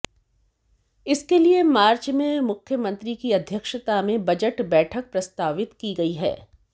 इसके लिए मार्च में मुख्यमंत्री की अध्यक्षता में बजट बैठक प्रस्तावित की गई है